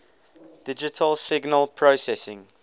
digital signal processing